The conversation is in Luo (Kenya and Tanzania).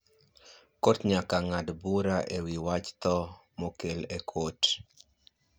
kot nyaka ngad bura ewi wach tho mokel e kot